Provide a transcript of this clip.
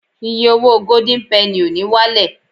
iye owó golden penny o ni walẹ